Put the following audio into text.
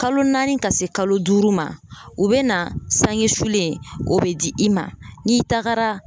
Kalo naani ka se kalo duuru ma, u be na sange sulen o be di i ma n'i tagara.